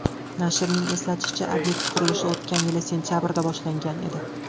Nashrning eslatishicha, obyekt qurilishi o‘tgan yil sentabrida boshlangan edi.